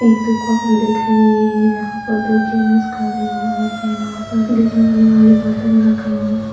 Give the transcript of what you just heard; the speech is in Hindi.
एक दुकान दिख रही है यहाँ पर दो जेंट्स खड़े हुए है वहां पर डिजाइन वाले बर्तन रखे हुए है।